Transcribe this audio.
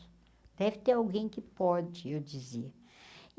Deve ter alguém que pode, eu dizia.